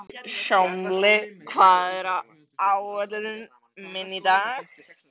Hjálmveig, hvað er á áætluninni minni í dag?